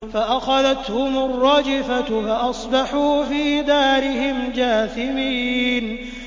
فَأَخَذَتْهُمُ الرَّجْفَةُ فَأَصْبَحُوا فِي دَارِهِمْ جَاثِمِينَ